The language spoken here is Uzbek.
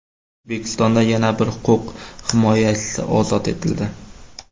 O‘zbekistonda yana bir huquq himoyachisi ozod etildi.